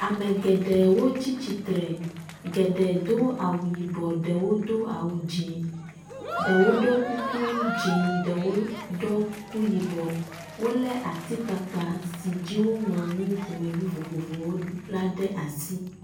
Ame geɖewo tsi tsitre, geɖe do awu yibɔ ɖewo do awu dzɛ̃. ɖewo wɔ kuku dze ɖewo ɖɔ kuku yibɔ, wolé atikpakpa si dzi woŋlɔ nu vovovowo la ɖe asi.